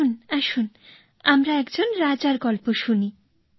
আসুন আসুন আমরা একজন রাজার গল্প শুনি